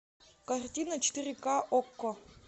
картина четыре ка окко